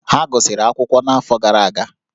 Ha gụsịrị akwụkwọ n'afọ gara aga